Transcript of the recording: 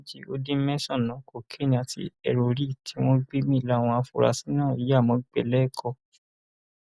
ọgọrùnún méjì ó dín mẹsànán cocaine àti heroine tí wọn gbé mi láwọn afurasí náà ya mọgbẹẹ lẹkọọ